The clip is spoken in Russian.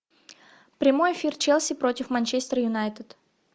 прямой эфир челси против манчестер юнайтед